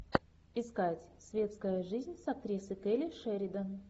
искать светская жизнь с актрисой келли шеридан